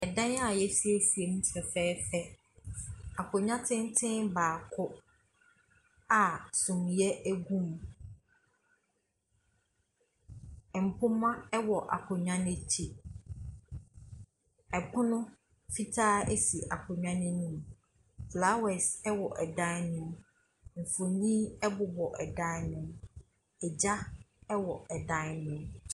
Dan a yɛasiesie mu fɛfɛɛfɛ, akonnwa tenten baako a suneɛ gu mu. Mpoma wɔ akonnwa n’akyi, pono fitaa wɔ akonnwa n’anim. Flowers wɔ dan ne mu, mfonin bobɔ dan ne mu, gya wɔ dan ne mu.